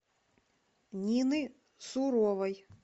нины суровой